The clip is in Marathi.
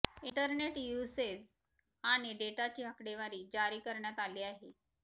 इंटरनेट युसेज आणि डेटाची आकडेवारी जारी करण्यात आली आहे